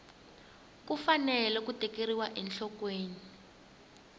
ku fanele ku tekeriwa enhlokweni